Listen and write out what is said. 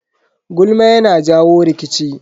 Gulma yana jawo rikici.